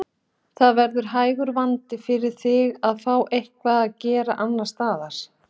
Það verður hægur vandi fyrir þig að fá eitthvað að gera annars staðar.